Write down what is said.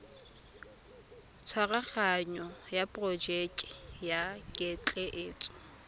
tshwaraganyo ya porojeke ya ketleetso